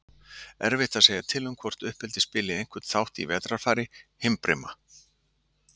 Erfitt er að segja til um hvort uppeldi spili einhvern þátt í vetrarfari himbrima.